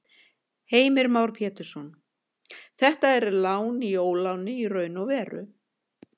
Heimir Már Pétursson: Þetta er lán í óláni í raun og veru?